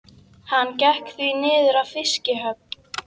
Hann gekk því niður að fiskihöfn.